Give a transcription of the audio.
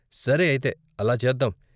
సరే అయితే అలా చేద్దాం.